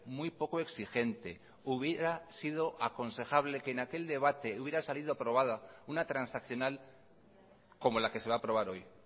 muy poco exigente hubiera sido aconsejable que en aquel debate hubiera salido aprobada una transaccional como la que se va a aprobar hoy